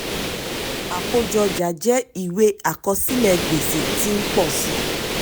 àkójọ ọjà jẹ ìwé àkọsílẹ̀ gbèsè tí ń pọ̀ sí i.